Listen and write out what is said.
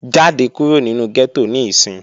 Jáde kúrò nínu gẹ́tò níìsín!